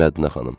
Mədinə xanım.